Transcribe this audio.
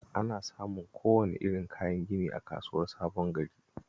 Ana samun kowane irin kayan gini a Kasuwar Sabon Gari